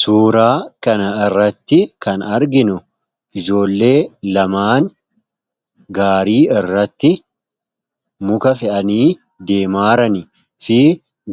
Suuraa kana irratti kan arginu ijoollee lamaan gaarii irratti muka fe'anii deemaaran fi